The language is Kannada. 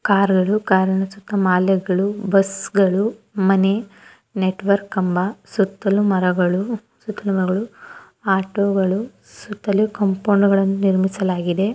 ಕಾರ್ಗಳು ಕಾರ್ ಸುತ್ತ ಮಳೆಗಳು ಬಸ್ಗಳು ಮನೆ ನೆಟ್ವರ್ಕ್ ಕಂಬ ಸುತ್ತಲೂ ಮರಗಳು ಆಟೋ ಗಳು ಸುತ್ತಲೂ ಕಾಂಪೌಂಡ್ ನಿಮಿಸಲಾಗಿದೆ.